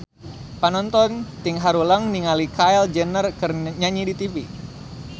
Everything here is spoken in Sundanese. Panonton ting haruleng ningali Kylie Jenner keur nyanyi di tipi